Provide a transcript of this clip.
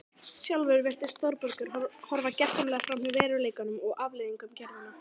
Sjálfur virðist Þórbergur horfa gersamlega framhjá veruleikanum og afleiðingum gerðanna.